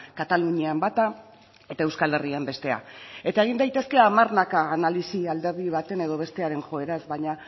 katalunian bata eta euskal herrian bestea eta egin daitezke hamarnaka analisi alderdi baten edo bestearen joeraz baina